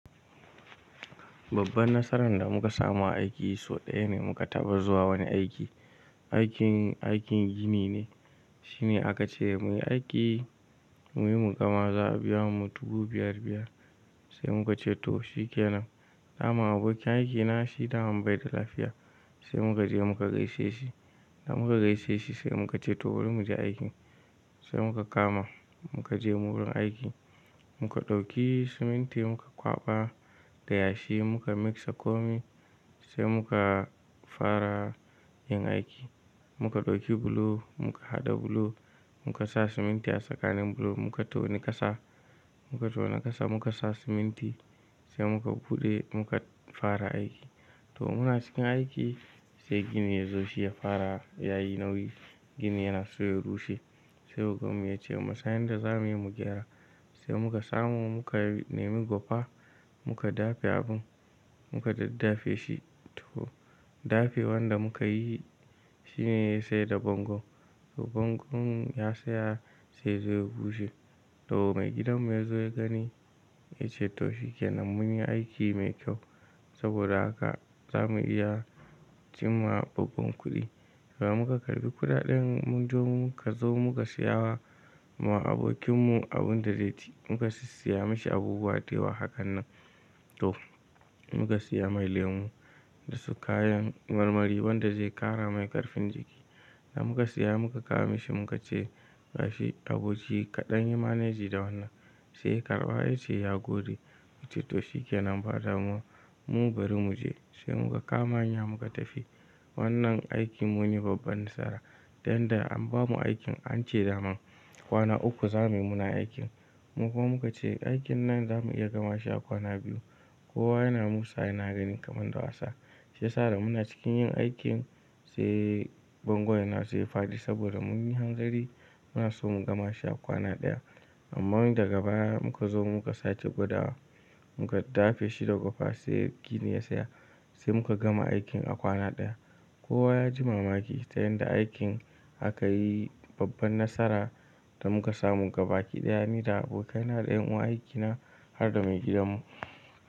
Babban nasaran da muka samu a aiki sau ɗaya ne muka taba zuwa wani aiki. Aikin, aikin gini ne. Shine aka ce muyi aiki muyi mu gama za'a biya mu dubu biyar biyar. Sai muka ce to shikenan. Daman abokin aiki na shi daman bai da lafiya sai muka je muka gaishe shi. Da muka gaishe shi sai muka ce to bari mu je aikin. Sai muka kama muka je wurin aiki muka ɗauki siminti muka kwaɓa da yashi muka mixa komai sai muka fara yin aiki. Muka ɗauki bulo muka haɗa bulo muka sa siminti a tsakanin bulo muka tona ƙasa, muka tona ƙasa muka sa siminti sai muka buɗe muka fara aiki. To muna cikin aiki sai gini ya zo shi ya fara yayi nauyi. Gini yana so ya rushe sai ogan mu ya ce mu san yanda za muyi mu gyara. Sai muka samu muka nemi gwafa muka dafe abun muka daddafe shi. To dafewan da muka yi shi ne ya saita bango. To bangonmu ya tsaya sai ya zo ya bushe. To mai gidan mu ya zo ya gani ya ce to shikenan munyi aiki mai kyau saboda haka za mu iya cinma babban kuɗi. To muka karɓi kuɗaɗen mun zo muka zo muka saya ma abokin mu abun da zai ci, muka siya mashi abubuwa dayawa hakanan. To muka siya mai lemu da su kayan marmari wanda zai ƙara mai ƙarfin jiki. Da muka siya muka kawo mishi muka ce gashi abinci kaɗan yi maneji da wannan. Sai ya karɓa ya ce ya gode, muka ce to shikenan bari mu je. Sai muka kama hanya muka tafi. Wannan aiki mun yi babban nasara dan da an bamu aikin an ce daman kwana uku za muyi muna aikin. Mu kuma muka ce aikin nan za mu iya gama shi a kwana biyu. Kowa yana musa yana ganin kaman da wasa. Shiyasa da muna cikin yin aikin sai bango yana so ya faɗi saboda mun yi hangari muna so mu gama shi a kwana ɗaya. Amma daga baya muka zo muka sake gwadawa, muka dafe shi da gwafa sai gini ya tsaya sai muka gama aikin a kwana ɗaya. Kowa ya ji mamaki ta yanda aikin aka yi babban nasara da muka samu gaba ki ɗaya ni da abokaina da yan uwa aiki na har da mai gidan mu.